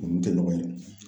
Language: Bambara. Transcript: Olu tɛ ɲɔgɔn ye